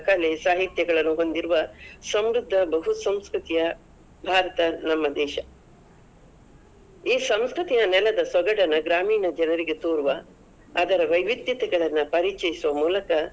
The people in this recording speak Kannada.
ಕಲೆ, ಸಾಹಿತ್ಯಗಳನ್ನು ಹೊಂದಿರುವ, ಸಮೃದ್ಧ ಬಹುಸಂಸ್ಕೃತಿಯ ಭಾರತ ನಮ್ಮ ದೇಶ. ಈ ಸಂಸ್ಕೃತಿಯ ನೆಲದ ಸೊಗಡನ್ನ ಗ್ರಾಮೀಣ ಜನರಿಗೆ ತೋರುವ, ಅದರ ವೈವಿದ್ಯತೆಗಳನ್ನ ಪರಿಚಯಿಸುವ ಮೂಲಕ.